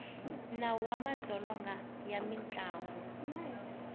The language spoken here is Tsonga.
nawu wa madzolonga ya mindyangu